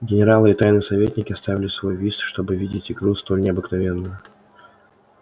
генералы и тайные советники оставили свой вист чтоб видеть игру столь необыкновенную